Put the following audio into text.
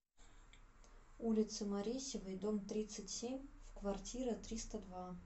улице маресевой дом тридцать семь в квартира триста два